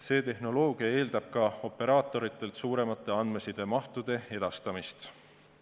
See tehnoloogia eeldab ka operaatoritelt suuremate andmesidemahtude edastamist.